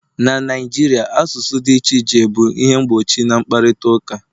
na Naijiria, asụsụ dị iche iche bụ ihe mgbochi na mkparịta ụka